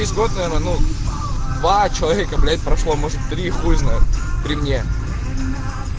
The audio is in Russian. два человека блять прошла может три хуй знает при мне